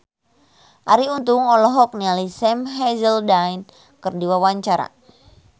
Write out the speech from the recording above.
Arie Untung olohok ningali Sam Hazeldine keur diwawancara